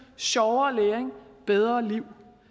sjovere læring bedre liv